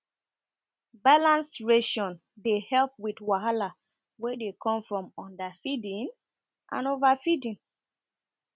balanced ration dey help with wahala wey dey come from underfeeding and overfeeding